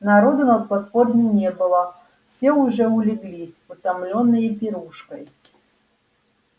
народу на платформе не было все уже улеглись утомлённые пирушкой